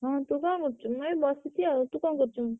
ହଁ ତୁ କଣ କରୁଚୁ? ମୁଁ ଏଇ ବସିଛି ଆଉ।